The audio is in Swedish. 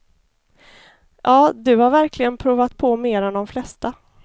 Ja, du har verkligen provat på mer än de flesta.